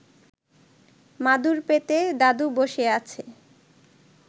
মাদুর পেতে দাদু বসে আছে